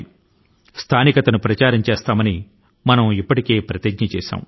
మనం ఇప్పటికే vocal for local అంటూ ప్రతిజ్ఞ చేశాము